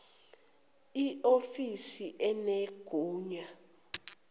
i ofisa enegunya